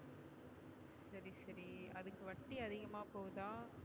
சரி அதுக்கு வட்டி அதிகமா போதா?